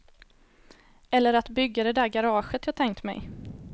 Eller att bygga det där garaget jag tänkt mig.